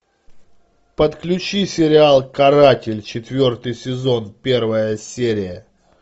подключи сериал каратель четвертый сезон первая серия